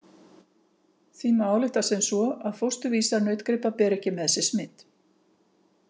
Því má álykta sem svo að fósturvísar nautgripa beri ekki með sér smit.